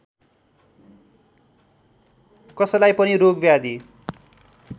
कसैलाई पनि रोगव्याधि